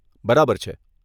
બરાબર છે.